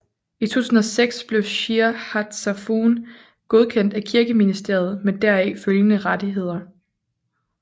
I 2006 blev Shir Hatzafon godkendt af Kirkeministeriet med deraf følgende rettigheder